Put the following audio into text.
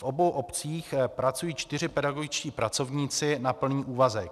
V obou obcích pracují čtyři pedagogičtí pracovníci na plný úvazek.